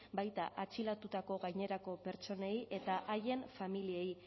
baita atxilotutako gainerako pertsonei eta haien familiei